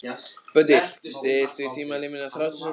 Böddi, stilltu tímamælinn á þrjátíu og sex mínútur.